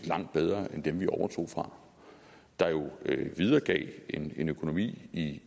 langt bedre end dem vi overtog fra der jo videregav en økonomi i